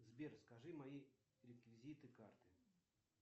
сбер скажи мои реквизиты карты